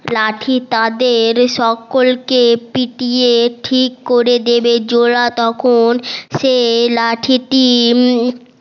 লাঠি তাদের সকলকে পিটিয়ে ঠিক করে দেবে জোলা তখন সেই লাঠিটি